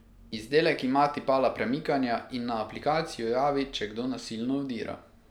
Izdelek ima tipala premikanja in na aplikacijo javi, če kdo nasilno vdira.